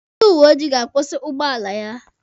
Ndị uweojii ga-akwụsị ụgbọala ya.